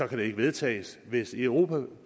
kan det ikke vedtages hvis europa